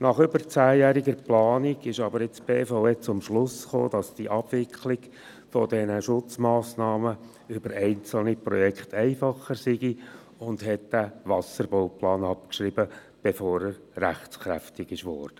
Nach über zehnjähriger Planung kam nun aber die BVE zum Schluss, dass die Abwicklung der Schutzmassnahmen über einzelne Projekte einfacher sei, und schrieb den Wasserbauplan ab, bevor er rechtskräftig wurde.